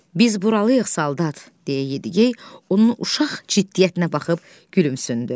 Biz buralıyıq, saldat, deyə Yediyey onun uşaq ciddiyyətinə baxıb gülümsündü.